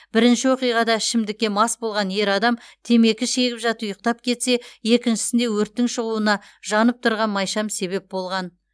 бірінші оқиғада ішімдікке мас болған ер адам темекі шегіп жатып ұйықтап кетсе екіншісінде өрттің шығуына жанып тұрған майшам себеп болған